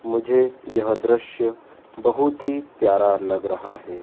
मुझे यह दृश्य बहुत ही प्यारा लग रहा है।